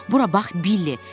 Bura bax Billi.